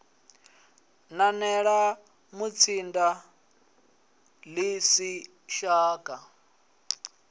nanela mutsinda ḽi si shaka